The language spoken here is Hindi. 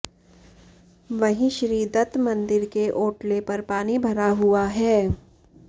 वहीं श्री दत्त मंदिर के ओटले पर पानी भरा हुआ है